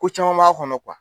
Ko caman b'a kɔnɔ